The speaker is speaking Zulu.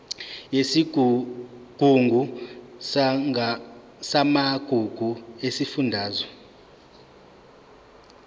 yesigungu samagugu sesifundazwe